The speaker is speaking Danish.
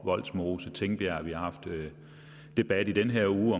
vollsmose tingbjerg vi har haft debat i den her uge